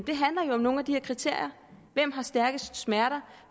om nogle af de her kriterier hvem har stærkest smerter